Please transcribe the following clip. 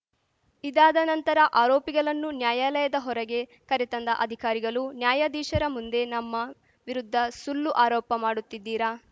ಇದಾದ ನಂತರ ಆರೋಪಿಗಲನ್ನು ನ್ಯಾಯಾಲಯದ ಹೊರಗೆ ಕರೆತಂದ ಅಧಿಕಾರಿಗಲು ನ್ಯಾಯಾಧೀಶರ ಮುಂದೆ ನಮ್ಮ ವಿರುದ್ಧ ಸುಲ್ಲು ಆರೋಪ ಮಾಡುತ್ತಿದ್ದೀರಾ